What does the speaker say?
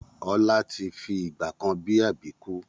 Ọlá tí fi ìgbàkan bi Àbíkú